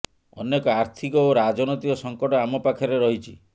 ଅନେକ ଆର୍ଥିକ ଓ ରାଜନୈତିକ ସଙ୍କଟ ଆମ ପାଖରେ ରହିଛି